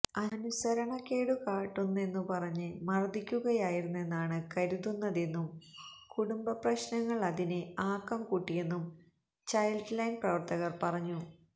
അനുസരണക്കേടു കാട്ടുന്നെന്നു പറഞ്ഞ് മർദിക്കുകയായിരുന്നെന്നാണ് കരുതുന്നതെന്നും കുടുംബപ്രശ്നങ്ങൾ അതിന് ആക്കംകൂട്ടിയെന്നും ചൈൽഡ്ലൈൻ പ്രവർത്തകർ പറഞ്ഞു